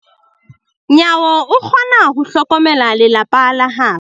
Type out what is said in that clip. Nyawo o kgona ho hlokomela lelapa la habo.